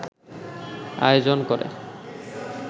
আয়োজন করে